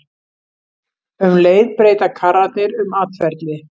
Um leið breyta karrarnir um atferli.